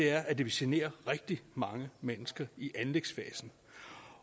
er at det vil genere rigtig mange mennesker i anlægsfasen